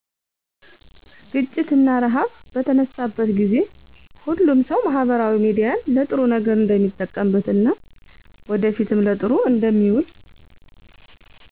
ግጪት እና እርሃብ በተነሳበት ጊዜ። ሁሉም ሰው ማህበራዊ ሚዲያን ለጥሩ ነገር እንደሚጠቀምበት እና ወደፊትም ለጥሩ እንደሚውል